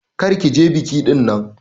Kar ki je biki dinnan!